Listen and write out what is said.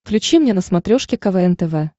включи мне на смотрешке квн тв